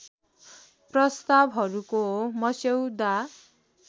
प्रस्तावहरूको मस्यौदा